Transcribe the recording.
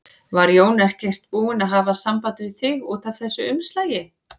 Var Jón ekkert búinn að hafa samband við þig út af þessu umslagi?